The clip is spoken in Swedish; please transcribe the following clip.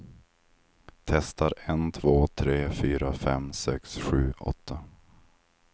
Testar en två tre fyra fem sex sju åtta.